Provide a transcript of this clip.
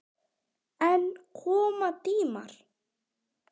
En koma tímar.